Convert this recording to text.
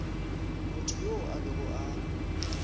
motho yoo a bego a